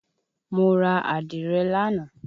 Mo ra Àdìrẹ lánàá.